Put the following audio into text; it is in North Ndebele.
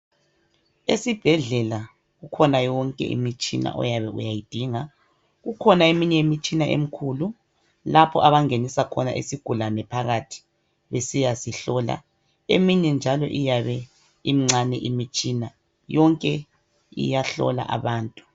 Esibhedlela kukhona yonke imtshina oyabe uyayidinga. Kukhona eminye imtshina emikhulu lapho abangenisa khona isigulane phakathi besiyasihlola. Eminye njalo iyabe imncane imitshina, yonke iyahlola abantu.